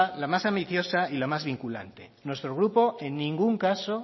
la más ambiciosa y la más vinculante nuestro grupo en ningún caso